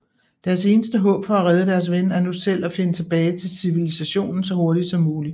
Deres eneste håb for at redde deres ven er nu selv at finde tilbage til civilisationen så hurtigt som muligt